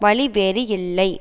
வழி வேறு இல்லை